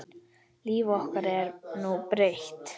Líf okkar er nú breytt